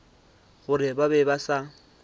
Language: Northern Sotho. gore ba be ba sa